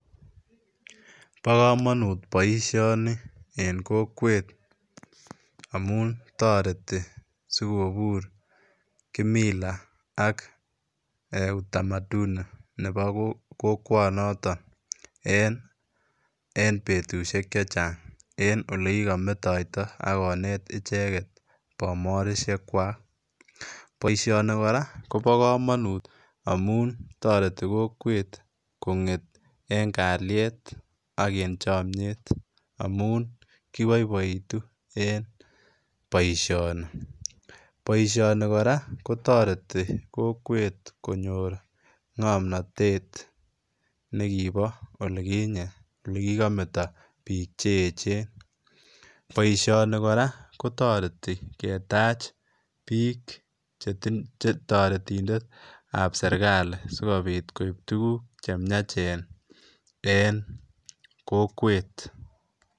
Bo komonut boisioni en kokwet amun toreti sikobur ]kimila ak ee utamaduni nebo kokwonoton en betusiek chechang en ole kikometoito ak konet icheget bomorisiekwak, boisioni koraa kobo komonut amun toreti kokwet konget en kaliet ak en chomnyet amun kiboiboitu en boisioni, boisioni kora kotoreti kokwet konyor ngomnotet nekibo oliginye olekigometo bik cheechen, boisioni koraa kotoreti ketach bik chetoretindetab serkali sikobit koib tuguk chemiachen en kokwet.